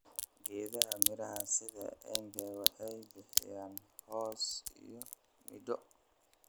Geedaha miraha sida embe waxay bixiyaan hoos iyo midho.